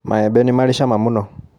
Maembe nĩmari cama mũno.